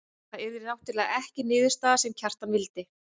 Það yrði náttúrlega ekki niðurstaðan sem Kjartan vildi.